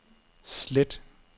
slet